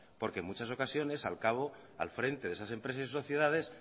porque en muchas ocasiones al frente de esas empresas y sus sociedades